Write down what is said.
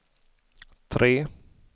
tre